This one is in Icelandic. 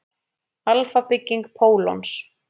Alfa-bygging pólons.